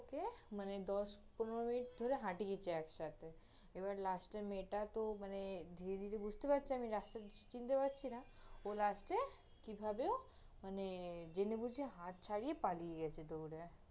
ওকে, মানে, দশ-পনের মিনিট ধরে হাঁটিয়েছে একসাথে, এবারে last এ মেয়েটা তহ মানে ধীরে ধীরে বুঝতে পারছে আমি রাস্তা চিনতে পারছি না, ও last এ কীভাবে ও, মানে, জেনে বুঝে হাত ছারিয়ে পালিয়ে গেছে দৌড়ে